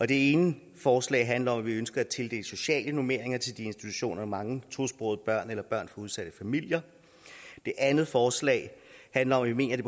det ene forslag handler om at vi ønsker at tildele sociale normeringer til institutioner med mange tosprogede børn eller børn fra udsatte familier det andet forslag handler om at vi mener det